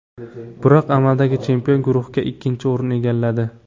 Biroq amaldagi chempion guruhda ikkinchi o‘rinni egalladi.